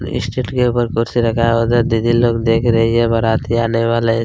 state के ऊपर कुर्सी लगाया उधर दीदी लोग देख रही है बाराती आने वाले--